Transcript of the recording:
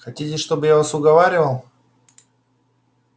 хотите чтобы я вас уговаривал